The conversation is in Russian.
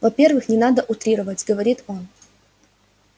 во-первых не надо утрировать говорит он